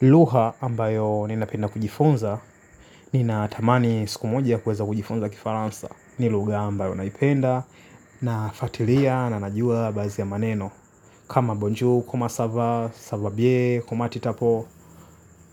Lugha ambayo ninapenda kujifunza nina tamani siku moja ya kueza kujifunza kifaransa. Ni lugha ambayo naipenda nafuatilia na najua basi ya maneno. Kama bonju, kuma sava, sava bie, kuma titapo.